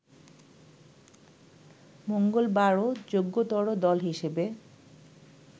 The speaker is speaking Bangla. মঙ্গলবারও যোগ্যতর দল হিসেবে